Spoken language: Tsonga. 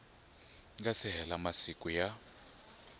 nga si hela masiku ya